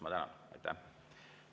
Ma tänan!